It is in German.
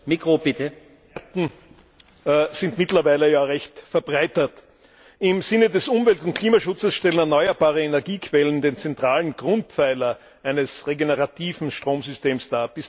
Herr Präsident! sind mittlerweile ja recht verbreitet. Im Sinne des Umwelt und Klimaschutzes stellen erneuerbare Energiequellen den zentralen Grundpfeiler eines regenerativen Stromsystems dar.